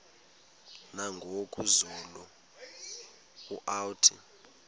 nangoku zulu uauthi